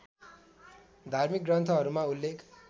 धार्मिक ग्रन्थहरूमा उल्लेख